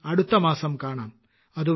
ഇനി അടുത്തമാസം കാണാം